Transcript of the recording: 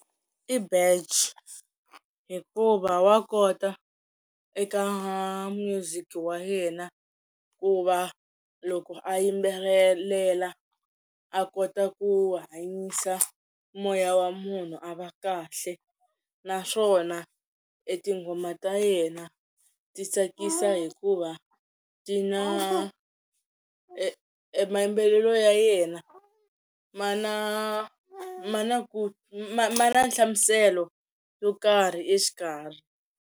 I hikuva wa kota eka music wa yena ku va loko a yimbelelela a kota ku hanyisa moya wa munhu a va kahle naswona etinghoma ta yena ti tsakisa hikuva ti na mayimbelelo ya yena ma na ma na ku ma ma na nhlamuselo yo karhi exikarhi.